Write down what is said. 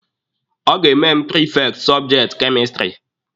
Ọ ga-eme mụ prifekti sọbjekti kemistiri.